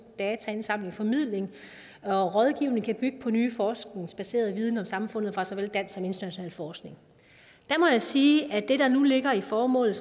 dataindsamling formidling og rådgivning der kan bygge på ny forskningsbaseret viden om samfundet fra såvel dansk som international forskning må jeg sige at det der nu ligger i formålet